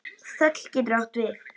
Þöll getur átt við